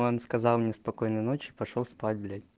он сказал мне спокойной ночи и пошёл спать